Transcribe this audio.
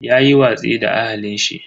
Yayi watsi da ahalin shi.